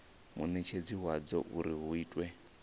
munetshedzi wadzo uri hu itwe